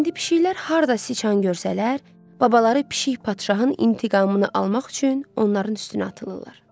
İndi pişiklər harda siçan görsələr, babaları pişik padşahın intiqamını almaq üçün onların üstünə atılırlar.